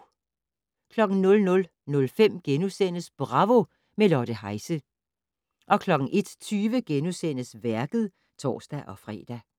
00:05: Bravo - med Lotte Heise * 01:20: Værket *(tor-fre)